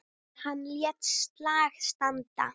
Hann lét slag standa.